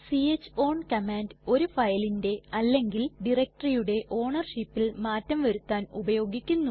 c h own command ഒരു ഫയലിന്റെ അല്ലെങ്കിൽ directoryയുടെ ownershipൽ മാറ്റം വരുത്താൻ ഉപയോഗിക്കുന്നു